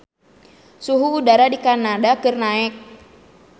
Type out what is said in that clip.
Suhu udara di Kanada keur naek